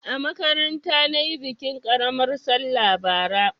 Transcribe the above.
A makaranta na yi bikin ƙaramar sallah bara.